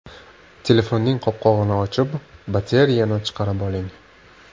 Telefonning qopqog‘ini ochib, batareyani chiqarib oling.